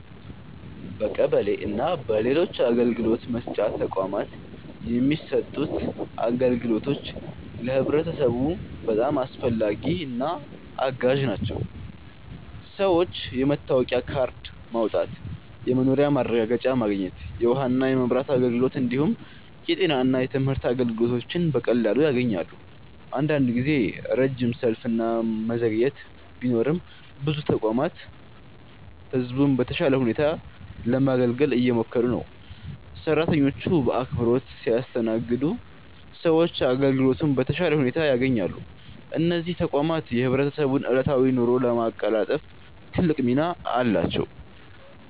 በቀበሌ እና በሌሎች አገልግሎት መስጫ ተቋማት የሚሰጡት አገልግሎቶች ለህብረተሰቡ በጣም አስፈላጊና አጋዥ ናቸው። ሰዎች የመታወቂያ ካርድ ማውጣት፣ የመኖሪያ ማረጋገጫ ማግኘት፣ የውሃና የመብራት አገልግሎት እንዲሁም የጤና እና የትምህርት አገልግሎቶችን በቀላሉ ያገኛሉ። አንዳንድ ጊዜ ረጅም ሰልፍ እና መዘግየት ቢኖርም ብዙ ተቋማት ህዝቡን በተሻለ ሁኔታ ለማገልገል እየሞከሩ ነው። ሰራተኞቹ በአክብሮት ሲያስተናግዱ ሰዎች አገልግሎቱን በተሻለ ሁኔታ ያገኛሉ። እነዚህ ተቋማት የህብረተሰቡን ዕለታዊ ኑሮ ለማቀላጠፍ ትልቅ ሚና አላቸው።